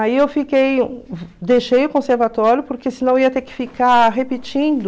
Aí eu fiquei deixei o conservatório porque senão eu ia ter que ficar repetindo.